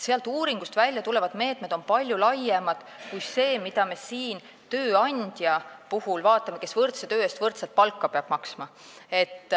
Sealt uuringust väljatulevad meetmed on palju laiemad kui see, mida meie siin vaatame, et tööandja peab võrdse töö eest võrdset palka maksma.